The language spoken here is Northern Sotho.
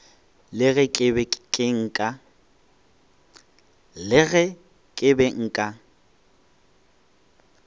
le ge ke be nka